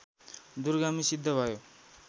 दूरगामी सिद्ध भयो